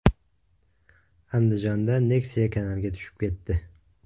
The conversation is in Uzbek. Andijonda Nexia kanalga tushib ketdi.